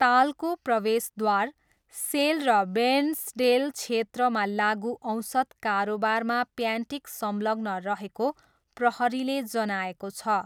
तालको प्रवेशद्वार, सेल र बेर्न्सडेल क्षेत्रमा लागुऔषध कारोबारमा प्यान्टिक संलग्न रहेको प्रहरीले जनाएको छ।